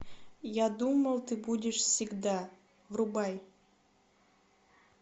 я думал ты будешь всегда врубай